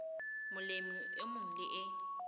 molemi e mong le e